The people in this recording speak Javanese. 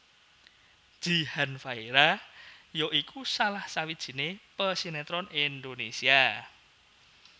Jihan Fahira ya iku salah sawijiné pesinetron Indonésia